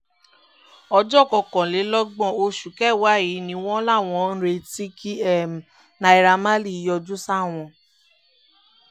ọjọ́ kọkànlélọ́gbọ̀n oṣù kẹwàá yìí ni wọ́n láwọn ń retí kí naira marley yọjú sáwọn